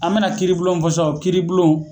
An mɛna kiiribulon mun fɔ sisan o kiiribulon